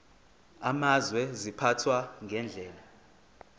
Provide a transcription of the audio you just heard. amazwe ziphathwa ngendlela